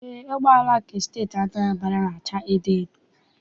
Eé, ụgbọala nke Steeti Anambra na- acha edoedo.